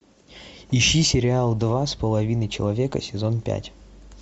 ищи сериал два с половиной человека сезон пять